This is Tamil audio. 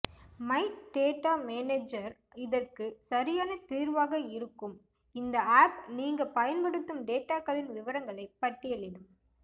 மை டேட்டா மேனேஜர் இதற்கு சரியான தீர்வாக இருக்கும் இந்த ஆப் நீங்க பயன்படுத்தும் டேட்டாக்களின் விவரங்களை பட்டியலிடும்